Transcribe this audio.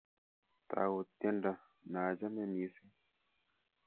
Tau tyendonyu naachame missing